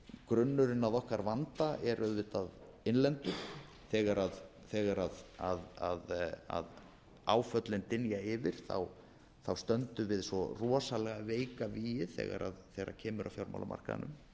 grunnurinn að okkar vanda er auðvitað innlendur þegar áföllin dynja yfir stöndum við svo rosalega veik að vígi þegar kemur að